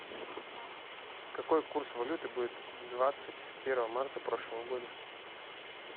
какой курс валюты будет двадцать первого марта прошлого года